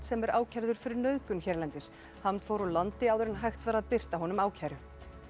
sem er ákærður fyrir nauðgun hérlendis fór úr landi áður en hægt var að birta honum ákæru